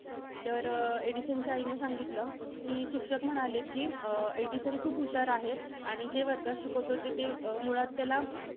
तर, एडिसनच्या आईने सांगितलं, कि शिक्षक म्हणाले कि, अं एडिसन खूप हुशार आहे, आणि जे वर्गात शिकवतो ते~ ते मुळात त्याला